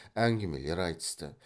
әңгімелер айтысты